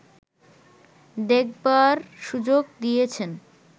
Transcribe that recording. দেখবার সুযোগ দিয়েছেন